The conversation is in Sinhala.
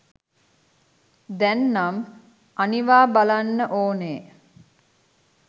දැන්නම් අනිවා බලන්න ඕනෙ.